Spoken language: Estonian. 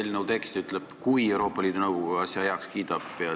Eelnõu tekst ütleb, et kui Euroopa Liidu Nõukogu asja heaks kiidab.